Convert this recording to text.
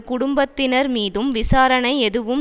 குடும்பத்தினர் மீதும் விசாரணை எதுவும்